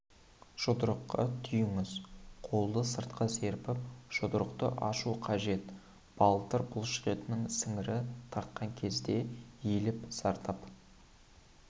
жұдырыққа түйіңіз қолды сыртқа серпіп жұдырықты ашу қажет балтыр бұлшықетінің сіңірі тартқан кезде иіліп зардап